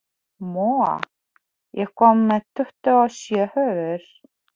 Móa, ég kom með tuttugu og sjö húfur!